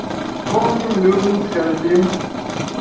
помним любим скорбим